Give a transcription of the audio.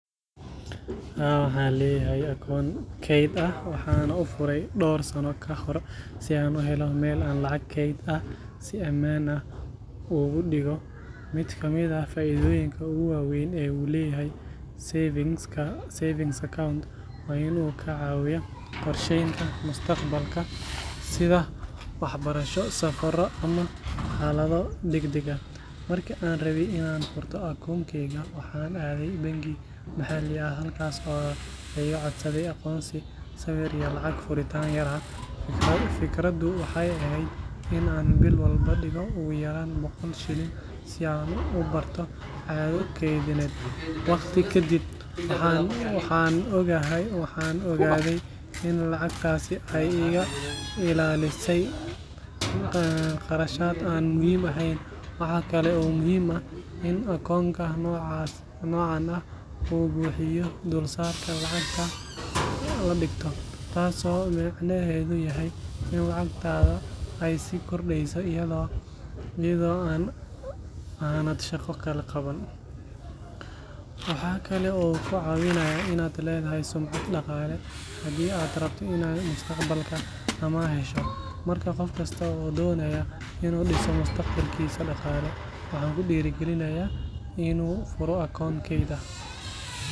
Haa, waxaan leeyahay akoon kayd ah waxaana u furay dhowr sano ka hor si aan u helo meel aan lacag keyd ah si ammaan ah ugu dhigo. Mid ka mid ah faa’iidooyinka ugu waa weyn ee uu leeyahay savings account waa in uu kaa caawinayo qorsheynta mustaqbalka sida waxbarasho, safarro ama xaalado degdeg ah. Markii aan rabay in aan furto akoonkayga, waxaan aaday bangi maxalli ah halkaas oo laga iga codsaday aqoonsi, sawir iyo lacag furitaan yar ah. Fikraddu waxay ahayd in aan bil walba dhigo ugu yaraan boqol shilin si aan u barto caado keydineed. Waqti ka dib, waxaan ogaaday in lacagtaasi ay iga ilaalisay kharashaad aan muhiim ahayn. Waxa kale oo muhiim ah in akoonka noocan ah uu bixiyo dulsaarka lacagta la dhigto, taas oo micnaheedu yahay in lacagtaada ay sii kordheyso iyada oo aanad shaqo kale qaban. Waxa kale oo uu kaa caawinayaa inaad leedahay sumcad dhaqaale haddii aad rabto inaad mustaqbalka amaah hesho. Marka qof kasta oo doonaya inuu dhiso mustaqbalkiisa dhaqaale, waxaan ku dhiirrigelinayaa inuu furo akoon kayd ah. Waxay kaa caawin doontaa inaad si wanaagsan ula dhaqanto dhaqaalahaaga.